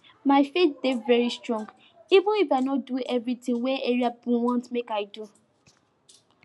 my faith dey very strong even if i no do eveything wey area pipo want make i do